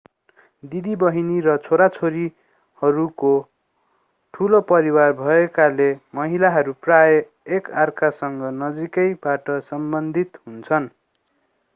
दिदिबहिनी र छोरीहरूको ठूलो परिवार भएकोले महिलाहरू प्रायः एक अर्कासँग नजिकैबाट सम्बन्धित हुन्छन्